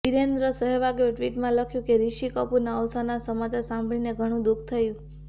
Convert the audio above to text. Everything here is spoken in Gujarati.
વીરેન્દ્ર સહેવાગે ટિ્વટમાં લખ્યું કે ઋષિ કપૂરના અવસાનના સમાચાર સાંભળીને ઘણું દુઃખ થયું